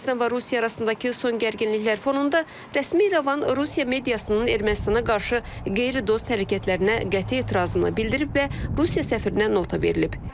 Ermənistan və Rusiya arasındakı son gərginliklər fonunda rəsmi İrəvan Rusiya mediasının Ermənistana qarşı qeyri-dost hərəkətlərinə qəti etirazını bildirib və Rusiya səfirinə nota verilib.